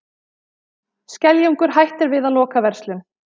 Skeljungur hættir við að loka verslun